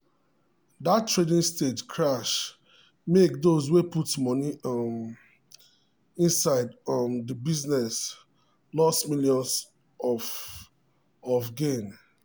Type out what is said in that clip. that trading stage crash make those way put money um inside um the business loss millions of of gain.